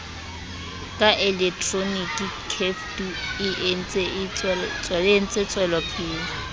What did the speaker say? ka elektroniki ceftu e entsetswelopele